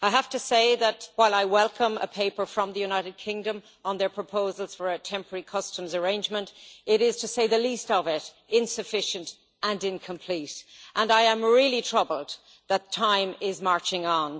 I have to say that, while I welcome a paper from the United Kingdom on their proposals for a temporary customs arrangement, it is, to say the least of it, insufficient and incomplete, and I am really troubled that time is marching on.